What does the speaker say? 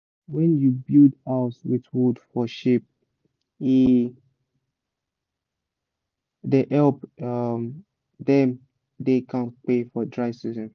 when you build house with wood for sheep e da help um dem da kampe for dry season